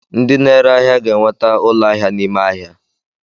Ndị na-ere ahịa ga-enweta ụlọ ahịa n'ime ahịa.